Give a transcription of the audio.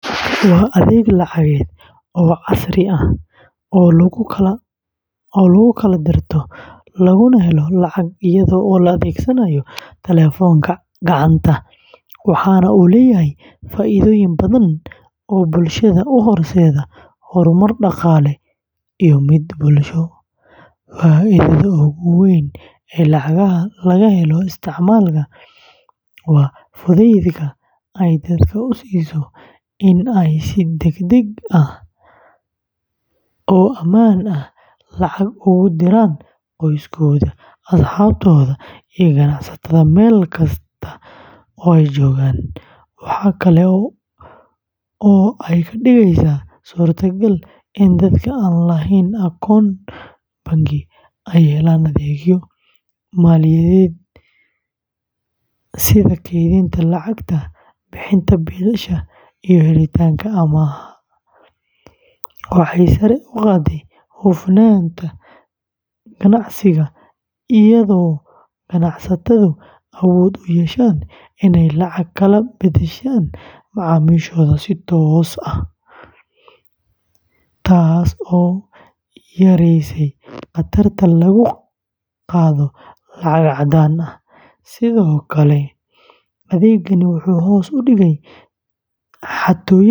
Waa adeeg lacageed oo casri ah oo lagu kala dirto laguna helo lacag iyadoo la adeegsanayo taleefanka gacanta, waxaana uu leeyahay faa’iidooyin badan oo bulshada u horseeday horumar dhaqaale iyo mid bulsho. Faa’iidada ugu weyn ee laga helo isticmaalka waa fudaydka ay dadka u siiso in ay si degdeg ah oo ammaan ah lacag ugu diraan qoysaskooda, asxaabtooda, iyo ganacsatada meel kasta oo ay joogaan. Waxa kale oo ay ka dhigeysaa suurtagal in dadka aan lahayn akoon bangi ay helaan adeegyo maaliyadeed sida kaydinta lacagta, bixinta biilasha, iyo helitaanka amaah, waxay sare u qaadday hufnaanta ganacsiga iyada oo ganacsatadu awood u yeesheen inay lacag kala beddeshaan macaamiishooda si toos ah, taas oo yaraysay khatarta lagu qaado lacag caddaan ah. Sidoo kale, adeegani wuxuu hoos u dhigay xatooyada iyo khatarta.